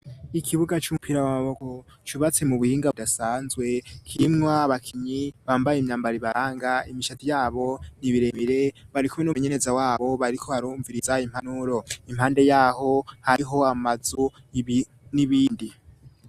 Ikibuga cumpiro w'amaboko cubatse mu buhinga vyasanzwe kimwa bakinyi bambaye imyambaribaranga imishati yabo n'ibiremire barikume n'umenyeneza wabo bariko arumviriza impanuro impande yaho hariho amazu n'ibindi.